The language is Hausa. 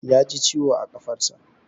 Ya ji ciwo a ƙafarsa.